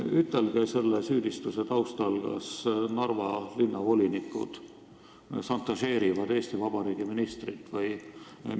Ütelge selle süüdistuse taustal, kas Narva linnavolinikud šantažeerivad Eesti Vabariigi ministrit!